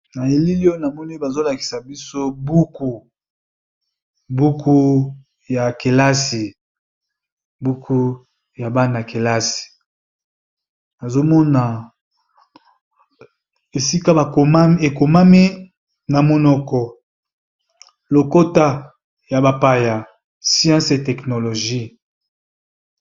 Na elili oyo, na moni bazo lakisa biso buku, buku ya bana ya kelasi nazo mona esika e komami na monoko lokota ya bapaya sciences e technologie..